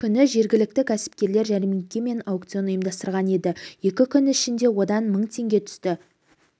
күні жергілікті кәсіпкерлер жәрмеңке мен аукцион ұйымдастырған еді екі күн ішінде одан мың теңге түсті